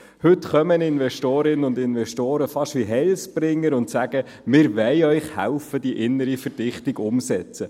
Heute kommen Investorinnen und Investoren fast wie Heilsbringer, indem sie sagen, dass sie uns helfen wollen, die innere Verdichtung umzusetzen.